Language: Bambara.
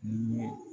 Ni ye